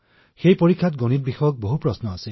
ইয়াত বহুতো অংকৰ প্ৰশ্ন আছিল